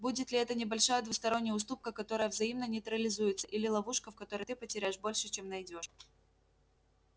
будет ли это небольшая двусторонняя уступка которая взаимно нейтрализуется или ловушка в которой ты потеряешь больше чем найдёшь